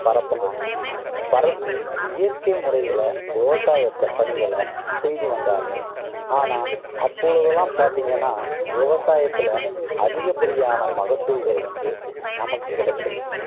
பரப்புனாங்க. பரப்பி இயற்கை முறையில விவசாயத்தை பணிகளை செய்து வந்தார்கள் ஆனா அப்பொழுதெல்லாம் பாத்தீங்கன்னா விவசாயத்துல அதிகப்படியான மகசூல்கள் வந்து நமக்கு கிடைச்சது